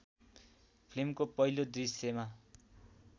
फिल्मको पहिलो दृश्यमा